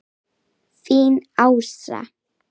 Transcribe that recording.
Þín Ása.